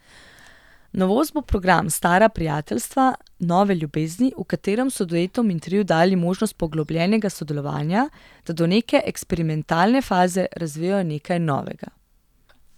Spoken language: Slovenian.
Novost bo program Stara prijateljstva, nove ljubezni, v katerem so duetom in triu dali možnost poglobljenega sodelovanja, da do neke eksperimentalne faze razvijejo nekaj novega.